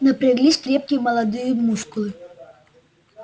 напряглись крепкие молодые мускулы